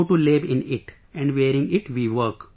We go to lab in it, and wearing it we work